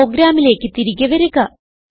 പ്രോഗ്രാമിലേക്ക് തിരികെ വരിക